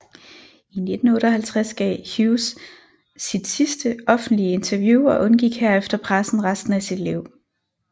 I 1958 gav Hughes sit sidste offentlige interview og undgik herefter pressen resten af sit liv